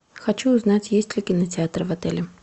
хочу узнать есть ли кинотеатр в отеле